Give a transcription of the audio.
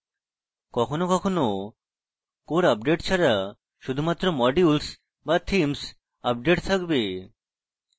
কখনও কখনও core update ছাড়া শুধুমাত্র modules বা themes আপডেট থাকবে